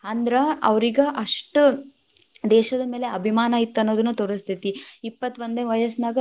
ಅಂದ್ರ ಅವ್ರೀಗ್‌ ಅಷ್ಟ್ ದೇಶದ ಮ್ಯಾಲ ಅಭಿಮಾನ ಇತ್ತ್ ಅನ್ನೋದನ್ನ ತೋರಸ್ತೇತಿ, ಇಪ್ಪತ್ತೋಂದನೆ ವಯಸ್ಸನಾಗ.